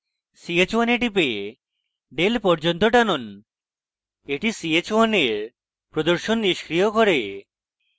ch1 এ টিপে del পর্যন্ত টানুন এটি ch1 এর প্রদর্শন নিষ্ক্রিয় করে